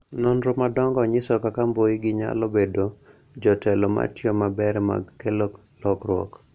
Nonro madongo nyiso kaka mbui gi nyalo bedo jotelo matiyo maber mag kelo lokruok.